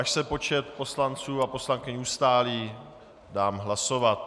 Až se počet poslanců a poslankyň ustálí, dám hlasovat.